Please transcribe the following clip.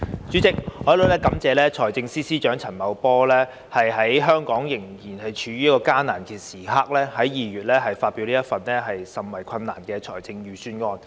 主席，我感謝財政司司長陳茂波在香港仍處於艱難時刻，在2月發表這份甚為困難的財政預算案。